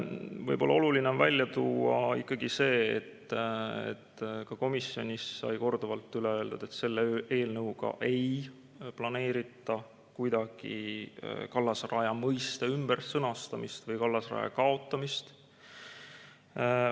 Võib-olla on oluline välja tuua ikkagi see, et ka komisjonis sai korduvalt üle öeldud, et selle eelnõuga ei planeerita kuidagi kallasraja mõiste ümbersõnastamist või kallasraja kaotamist.